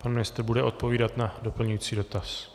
Pan ministr bude odpovídat na doplňující dotaz.